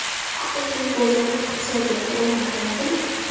Haqiqiy bozor iqtisodiyoti o‘rnatiladimi?